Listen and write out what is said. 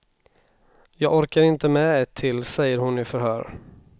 Jag orkade inte med ett till, säger hon i förhör.